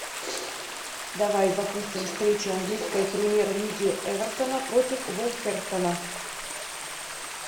давай запустим встречу английской премьер лиги эвертона против вулверхэмптона